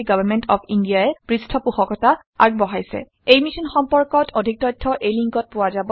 এই মিশ্যন সম্পৰ্কত অধিক তথ্য spoken hyphen tutorial dot org slash এনএমইআইচিত হাইফেন ইন্ট্ৰ ৱেবচাইটত পোৱা যাব